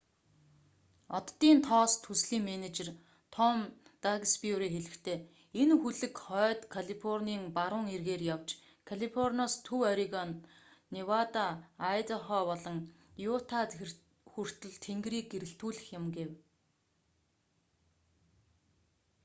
оддын тоос төслийн менежер том даксбюри хэлэхдээ энэ хөлөг хойд калифорний баруун эргээр явж калифорниас төв орегон невада айдахо болон юта хүртэл тэнгэрийг гэрэлтүүлэх юм гэв